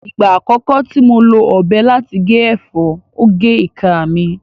Ìgbà àkọ́kọ́ tí mo lo ọ̀bẹ láti gé ẹ̀fọ́, ó gé ìka mi